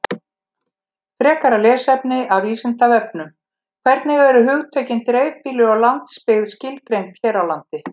Frekara lesefni af Vísindavefnum: Hvernig eru hugtökin dreifbýli og landsbyggð skilgreind hér á landi?